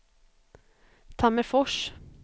Tammerfors